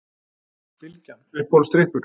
Bylgjan Uppáhaldsdrykkur?